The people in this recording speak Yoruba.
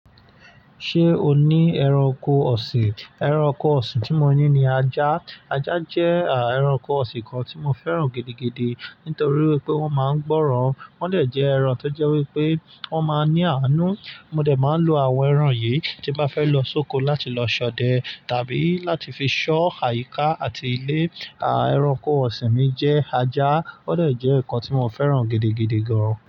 Ṣé o ní ẹranko ọ̀sìn? Ẹranko ọ̀sìn tí mo ní ni ajá. Ajá jẹ́ à ẹranko ọ̀sìn kan tí mo fẹ́ràn gidigidi nítorí wípé wọ́n máa ń gbọ́ràn. Wọ́n dẹ̀ jẹ́ ẹran tó jẹ́ wípé wọ́n máa ń ní àánú. Mo dẹ̀ máa ń lo àwọn ẹran yìí tí bá fẹ́ lọ sóko láti lọ ṣọdẹ tàbí láti fi ṣọ́ àyíká àti ilé. À ẹranko ọ̀sìn mi jẹ́ ajá, ó dẹ̀ jẹ́ nǹkan tí mo fẹ́ràn gidigidi gan.